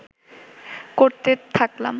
করতে থাকলাম